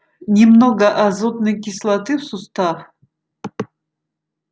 немного азотной кислоты в сустав